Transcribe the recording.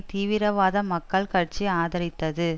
தீவிரவாத மக்கள் கட்சி ஆதரித்தது